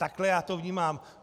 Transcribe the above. Takhle já to vnímám.